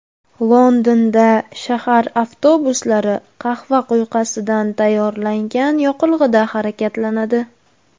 Londonda shahar avtobuslari qahva quyqasidan tayyorlangan yoqilg‘ida harakatlanadi.